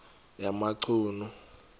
yamachunu